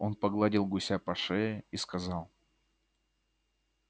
он погладил гуся по шее и сказал